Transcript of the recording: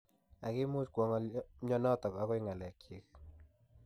Ak kimuch kwo mnyenotok akoi kelyek chik.